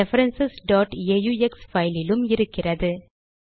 reference aux பைலிலும் இருக்கிறது